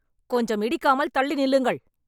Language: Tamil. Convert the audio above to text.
கொஞ்சம் இடிக்காமல் தள்ளி நில்லுங்கள்